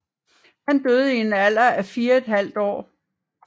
Han døde i en alder af 4½ år